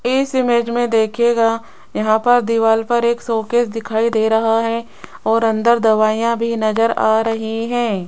इस इमेज मे देखियेगा यहां पर दीवार पर एक शोकेस दिखाई दे रहा है और अंदर दवाईयां भी नज़र आ रही है।